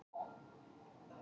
Nota ekki ilmefni.